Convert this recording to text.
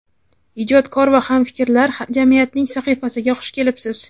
ijodkor va hamfikrlar jamiyatining sahifasiga xush kelibsiz.